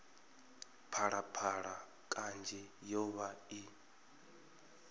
phalaphala kanzhi yo vha i